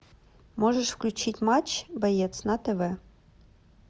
можешь включить матч боец на тв